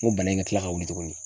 N ko bana in ka kila ka wuli tuguni